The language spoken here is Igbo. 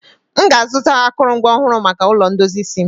m ga-azụta akụrụngwa ọhụrụ maka ulo ndozi isi m